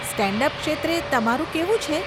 Stand up ક્ષેત્રે તમારું કેવું છે?